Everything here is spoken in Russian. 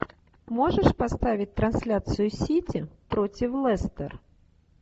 можешь поставить трансляцию сити против лестер